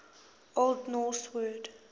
old norse word